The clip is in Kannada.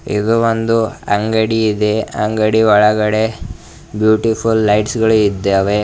ಇದು ಒಂದು ಅಂಗಡಿಯಿದ ಅಂಗಡಿ ಒಳಗಡೆ ಬ್ಯೂಟಿಫುಲ್ ಲೈಟ್ಸ್ ಗಳು ಇದ್ದಾವೆ.